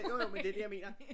Jo jo men det det jeg mener